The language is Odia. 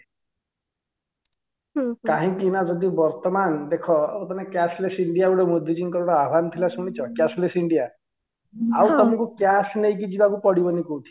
କାହିଁକିନା ଯଦି ବର୍ତମାନ ଦେଖ ତମେ cashless india ଗୋଟେ ମୋଦି ଜି ଙ୍କର ଗୋଟେ ଆହ୍ୱାନ ଥିଲା ଶୁଣିଛ cashless india ଆଉ ତମକୁ cash ନେଇକି ଯିବାକୁ ପଡ଼ିବନି କୋଉଠିକି